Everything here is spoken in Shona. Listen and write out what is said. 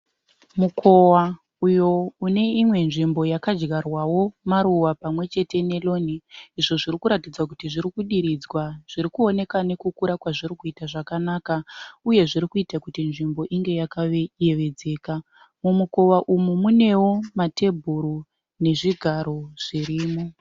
Mukowa uyo ineimwe nzvimbo yakadyarwawo maruva pamwechete neroni. Izvo zvirikuratidza kuti zvirikudiridzwa zvirikuoneka nekukura kwazvirikuita zvakanaka. Uye zvirikuita kuti nzvimbo inge yakayevedzeka. Mumukowa umu munewo matebhuru nezvigaro zvirimo.